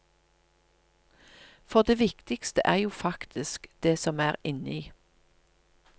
For det viktigste er jo faktisk det som er inni.